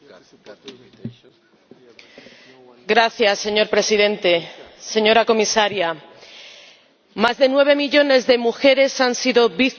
Señor Presidente, señora Comisaria, más de nueve millones de mujeres han sido víctimas de la violencia de género en Europa.